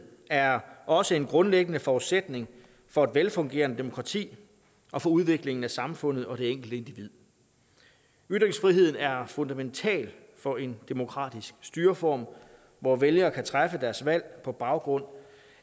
er også en grundlæggende forudsætning for et velfungerende demokrati og for udviklingen af samfundet og det enkelte individ ytringsfriheden er fundamental for en demokratisk styreform hvor vælgere kan træffe deres valg på baggrund